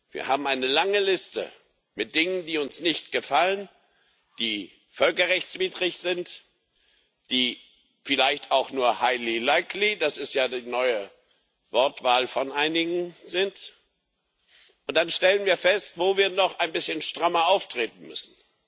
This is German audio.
Wir haben eine lange Liste mit Dingen, die uns nicht gefallen, die völkerrechtswidrig sind, die vielleicht auch nur das ist ja die neue Wortwahl von einigen sind, und dann stellen wir fest, wo wir noch ein bisschen strammer auftreten müssen.